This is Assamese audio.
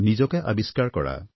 নিজকে আৱিষ্কাৰ কৰা